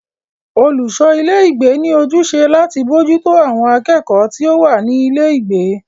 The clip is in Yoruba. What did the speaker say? Olùṣọ ilé ìgbé ní ojúṣe láti bójútó àwọn akẹ́kọ̀ọ́ tí o wá ní ilé ìgbé.